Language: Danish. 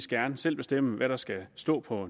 gerne selv bestemme hvad der skal stå på